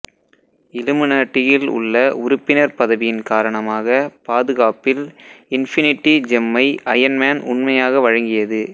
இலுமினட்டியில் உள்ள உறுப்பினர் பதவியின் காரணமாக பாதுகாப்பில் இன்ஃபினிடி ஜெம்மை அயன் மேன் உண்மையாக வழங்கியது